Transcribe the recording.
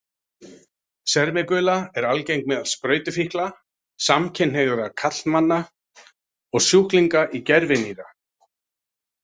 Sermigula er algeng meðal sprautufíkla, samkynhneigðra karlmanna og sjúklinga í gervinýra.